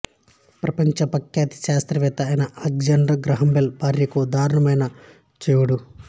ప్రపంచ ప్రఖ్యాత శాస్త్రవేత్త అయిన అలెగ్జాండర్ గ్రాహంబెల్ భార్యకు దారుణమైన చెముడు